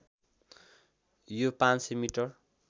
यो ५०० मिटर